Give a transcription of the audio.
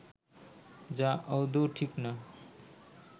যা আদৌও ঠিক না